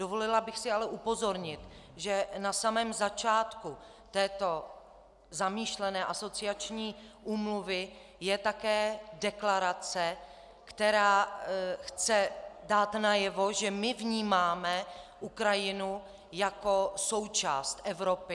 Dovolila bych si ale upozornit, že na samém začátku této zamýšlené asociační úmluvy je také deklarace, která chce dát najevo, že my vnímáme Ukrajinu jako součást Evropy.